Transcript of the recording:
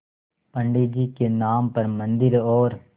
पंडित जी के नाम पर मन्दिर और